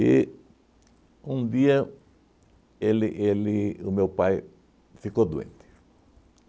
E, um dia, ele ele o meu pai ficou doente.